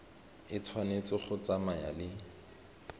e tshwanetse go tsamaya le